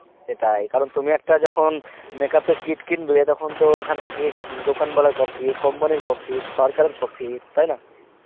সেটাই কারণ তুমি একটা যখন makeup এর kit কিনবে তখন তো ওখান থেকে দোকানবালার profit, company র profit, সরকারের profit তাই না